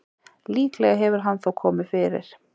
Líklega hefur hann þó komið fyrir.